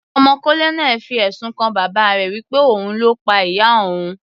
Ọmọ colonel fi ẹ̀sùn kan bàbá rẹ̀ wí pé òun ni Ó pa ìyá òun.